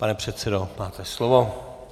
Pane předsedo, máte slovo.